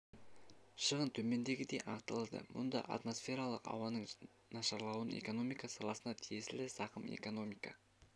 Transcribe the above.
шығын төмендегідей анықталады мұнда атмосфералық ауаның нашарлауынан экономика саласына тиесілі зақым экономика